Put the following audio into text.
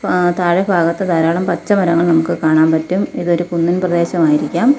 ആ താഴെ ഭാഗത്ത് ധാരാളം പച്ച മരങ്ങൾ നമുക്ക് കാണാൻ പറ്റും ഇതൊരു കുന്നിൻ പ്രദേശമായിരിക്കാം.